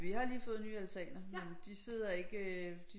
Vi har lige fået nye altaner men de sidder ikke øh